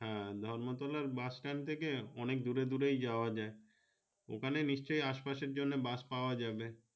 হ্যাঁ ধর্ম তলার বাসট্যান্ড থাকে অনেক দূরে দূরে যাওয়া যাই ওখানে নিশ্চয় আসে পাশে বাস পাওয়া যাবে।